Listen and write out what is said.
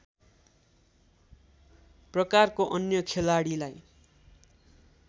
प्रकारको अन्य खेलाडीलाई